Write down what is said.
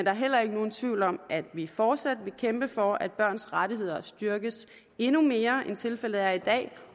er heller nogen tvivl om at vi fortsat vil kæmpe for at børns rettigheder styrkes endnu mere end tilfældet er i dag